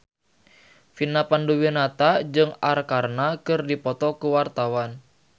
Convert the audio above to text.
Vina Panduwinata jeung Arkarna keur dipoto ku wartawan